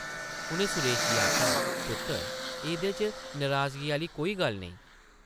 उʼनें सुरेश गी आखेआ, पुत्तर एह्दे च नराजगी आह्ली कोई गल्ल नेईं ।